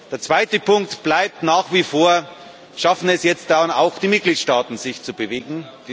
Der zweite Punkt bleibt nach wie vor Schaffen es jetzt denn auch die Mitgliedstaaten, sich zu bewegen?